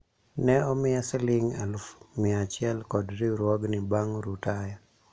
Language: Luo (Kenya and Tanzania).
ne omiya siling alufu mia achiel kod riwruogni bang' rutaya